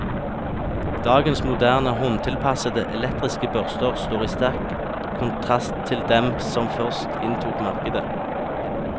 Dagens moderne, håndtilpassede, elektriske børster står i sterk kontrast til dem som først inntok markedet.